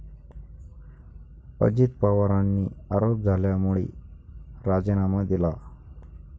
अजित पवारांनी आरोप झाल्यामुळे राजीनामा दिला.